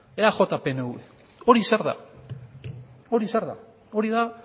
eaj pnv hori zer da hori da